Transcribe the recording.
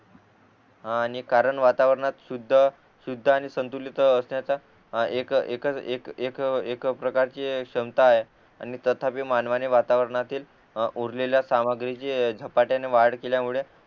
आणि कारण वातावरणात शुध्द शुद्ध आणि संतुलित असण्याचा एक एक प्रकारची क्षमता आहे आणि तथापि मानवाने वातावरणातील उरलेल्या सामग्रीची झपाट्याने वाढ केल्यामुळे